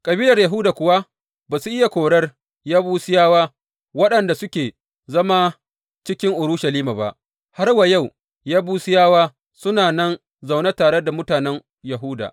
Kabilar Yahuda kuwa ba su iya korar Yebusiyawa waɗanda suke zama cikin Urushalima ba; har wa yau Yebusiyawa suna nan zaune tare da mutanen Yahuda.